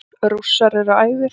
Rússar eru æfir.